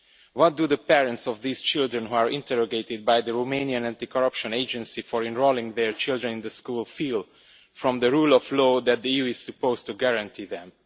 What do the parents of these children who are interrogated by the Romanian anti corruption agency for enrolling their children in the school feel about the rule of law that the EU is supposed to guarantee them?